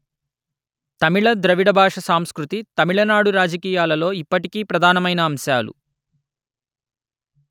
తమిళ ద్రవిడ భాష సంస్కృతి తమిళనాడు రాజకీయాలలో ఇప్పటికీ ప్రధానమైన అంశాలు